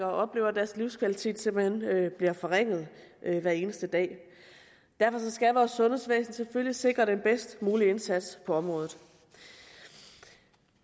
oplever at deres livskvalitet simpelt hen bliver forringet hver eneste dag derfor skal vores sundhedsvæsen selvfølgelig sikre den bedst mulige indsats på området